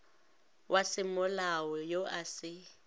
wa semolao yo a se